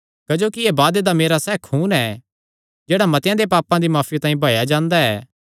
क्जोकि एह़ वादे दा मेरा सैह़ खून ऐ जेह्ड़ा मतेआं दे पापां दी माफी तांई बहाया जांदा ऐ